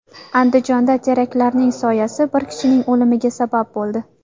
Andijonda teraklarning soyasi bir kishining o‘limiga sabab bo‘ldi.